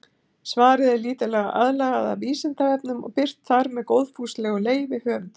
Svarið er lítillega aðlagað að Vísindavefnum og birt þar með góðfúslegu leyfi höfundar.